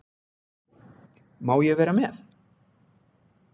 Má ég vera með?